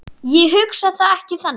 Ég hugsa það ekki þannig.